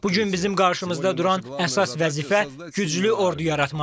Bu gün bizim qarşımızda duran əsas vəzifə güclü ordu yaratmaqdır.